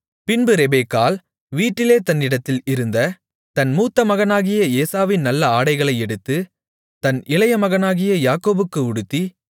பின்பு ரெபெக்காள் வீட்டிலே தன்னிடத்தில் இருந்த தன் மூத்த மகனாகிய ஏசாவின் நல்ல ஆடைகளை எடுத்து தன் இளைய மகனாகிய யாக்கோபுக்கு உடுத்தி